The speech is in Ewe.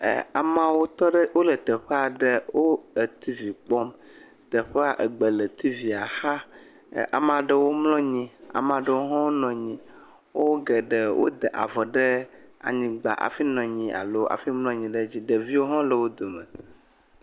E amawo tɔ ɖe wole teƒe aɖe. wo e tivi kpɔm. Teƒea egbe le tivia xa. Amea ɖewo mlɔ anyi, ame aɖewo ho nɔ anyi. Wo geɖe wode avɔ ɖe anyigba hafi mlɔ anyi alo hafi nɔ anyi ɖe edzi. Ɖeviwo hã le wo dome.